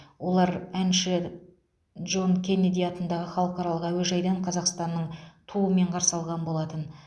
олар әнші джон кеннеди атындағы халықаралық әуежайдан қазақстанның туымен қарсы алған болатын